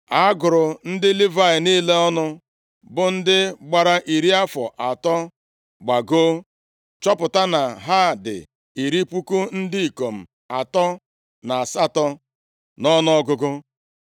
A gụrụ ndị Livayị niile ọnụ, bụ ndị gbara iri afọ atọ gbagoo, chọpụta na ha dị iri puku ndị ikom atọ na asatọ nʼọnụọgụgụ.